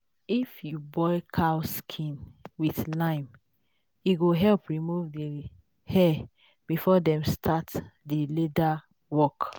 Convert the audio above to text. if you boil cow skin with lime e go help remove the hair before dem start the leather work.